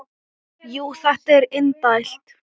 Jú, þetta er indælt